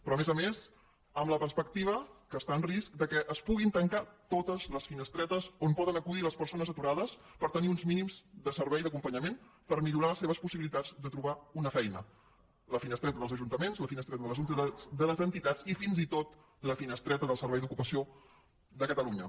però a més a més amb la perspectiva que està en risc que es puguin tancar totes les finestretes on poden acudir les persones aturades per tenir uns mínims de servei d’acompanyament per millorar les seves possibilitats de trobar una feina la finestreta dels ajuntaments la finestreta de les entitats i fins i tot la finestreta del servei d’ocupació de catalunya